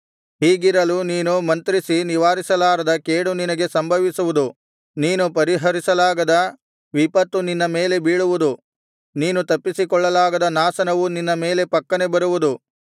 ಹೀಗಿರಲು ನೀನು ಮಂತ್ರಿಸಿ ನಿವಾರಿಸಲಾರದ ಕೇಡು ನಿನಗೆ ಸಂಭವಿಸುವುದು ನೀನು ಪರಿಹರಿಸಲಾಗದ ವಿಪತ್ತು ನಿನ್ನ ಮೇಲೆ ಬೀಳುವುದು ನೀನು ತಪ್ಪಿಸಿಕೊಳ್ಳಲಾಗದ ನಾಶನವು ನಿನ್ನ ಮೇಲೆ ಪಕ್ಕನೆ ಬರುವುದು